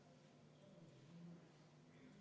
Muudatusettepanek on leidnud toetust.